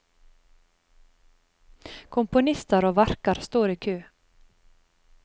Komponister og verker står i kø.